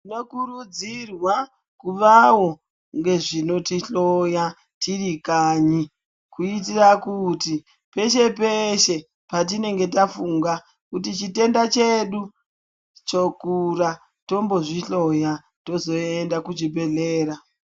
Tinokurudzirwa kuvawo ngezvinotihloya, tirikanyi, kuyitira kuti, peshe peshe patinenge tafunga kuti chitenda chedu chokura tombozvihloya toyenda kuchibhedhlera.